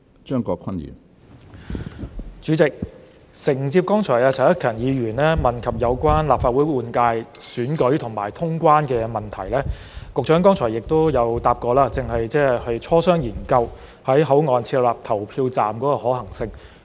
主席，承接剛才陳克勤議員問及有關立法會換屆選舉和通關的問題，局長剛才回答過，正在磋商、研究在口岸設立投票站的可行性。